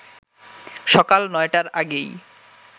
সকাল ৯টার আগেই